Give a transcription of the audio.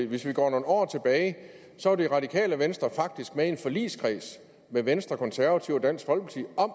hvis vi går nogle år tilbage var det radikale venstre faktisk med i en forligskreds med venstre de konservative og dansk folkeparti om